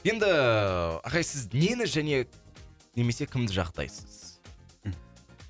енді ағай сіз нені және немесе кімді жақтайсыз